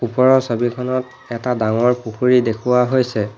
ওপৰৰ ছবিখনত এটা ডাঙৰ পুখুৰী দেখুওৱা হৈছে।